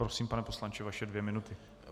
Prosím, pane poslanče, vaše dvě minuty.